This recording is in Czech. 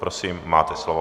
Prosím, máte slovo.